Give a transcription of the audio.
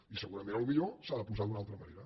i segurament potser s’ha de posar d’una altra manera